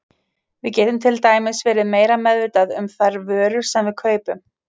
Við getum til dæmis verið meira meðvituð um þær vörur sem við kaupum.